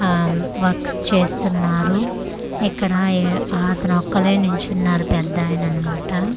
ఆ వర్క్స్ చేస్తున్నారు ఇక్కడ ఎ ఆతను ఒక్కడే నిల్చున్నారు పెద్దాయనన్నమాట.